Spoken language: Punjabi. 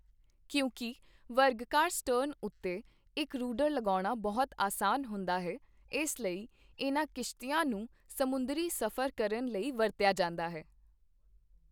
ਕਿਉਂਕਿ ਵਰਗਾਕਾਰ ਸਟਰਨ ਉੱਤੇ ਇੱਕ ਰੂੂਡਰ ਲਗਾਉਣਾ ਬਹੁਤ ਆਸਾਨ ਹੁੰਦਾ ਹੈ, ਇਸ ਲਈ ਇਨ੍ਹਾਂ ਕਿਸ਼ਤੀਆਂ ਨੂੰ ਸਮੁੰਦਰੀ ਸਫ਼ਰ ਕਰਨ ਲਈ ਵਰਤਿਆ ਜਾਂਦਾ ਹੈ।